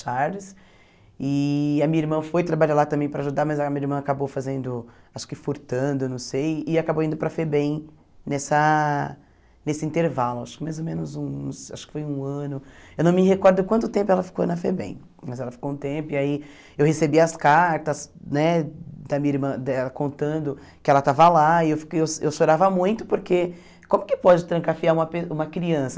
Charles, e a minha irmã foi trabalhar lá também para ajudar, mas a minha irmã acabou fazendo, acho que furtando, não sei, e acabou indo para a FEBEM nessa nesse intervalo, acho que mais ou menos uns acho que foi um ano, eu não me recordo quanto tempo ela ficou na FEBEM, mas ela ficou um tempo, e aí eu recebi as cartas né da minha irmã dela contando que ela estava lá, e eu eu eu chorava muito, porque como que pode trancafiar uma pe uma criança?